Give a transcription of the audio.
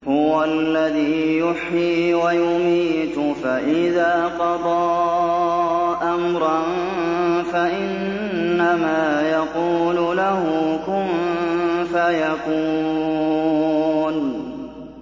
هُوَ الَّذِي يُحْيِي وَيُمِيتُ ۖ فَإِذَا قَضَىٰ أَمْرًا فَإِنَّمَا يَقُولُ لَهُ كُن فَيَكُونُ